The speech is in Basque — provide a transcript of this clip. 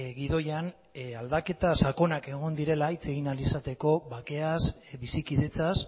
gidoian aldaketa sakonak egon direla hitz egin ahal izateko bakeaz bizikidetzaz